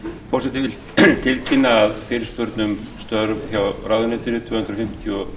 forseti vill tilkynna að fyrirspurn um störf hjá ráðuneytinu tvö hundruð fimmtugasta og